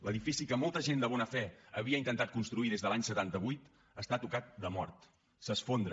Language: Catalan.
l’edifici que molta gent de bona fe havia intentat construir des de l’any setanta vuit està tocat de mort s’esfondra